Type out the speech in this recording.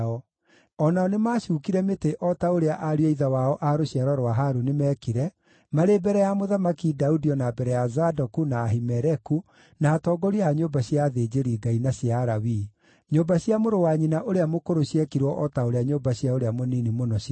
O nao nĩmacuukire mĩtĩ o ta ũrĩa ariũ a ithe wao a rũciaro rwa Harũni meekire, marĩ mbere ya Mũthamaki Daudi o na mbere ya Zadoku, na Ahimeleku, na atongoria a nyũmba cia athĩnjĩri-Ngai na cia Alawii. Nyũmba cia mũrũ wa nyina ũrĩa mũkũrũ ciekirwo o ta ũrĩa nyũmba cia ũrĩa mũnini mũno ciekirwo.